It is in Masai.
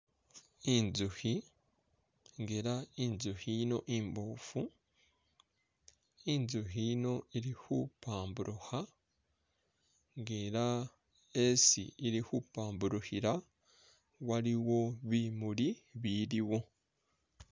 Inzukhi nga ela inzukhi yino imboofu inzukhi yino ili khupambulukha nga ela esi ili khupambulukhila waliwo bimuli biliwo